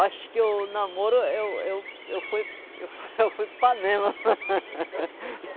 Acho que o namoro, eu, eu, eu fui, eu fui, eu fui panema.